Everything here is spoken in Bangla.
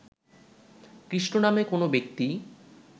কৃষ্ণ নামে কোন ব্যক্তি